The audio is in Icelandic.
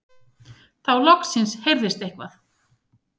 Þá loksins heyrðist eitthvað.